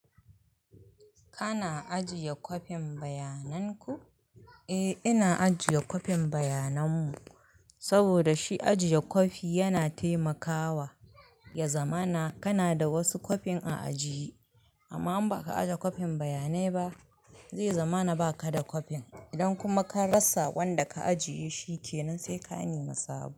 Kana ajiye kwafin bayanan ku? Eh ina ajiye kwafin bayanan mu, saboda shi ajiye kwafi yana taimakawa, ya zama na kana da wasu kwafin a ajiye. Amma in baka ajiye kwafin bayanai ba, zai zama na ba ka da kwafin. Idan kuma ka rasa wanda ka ajiye shi kenan sai ka nemi sabo.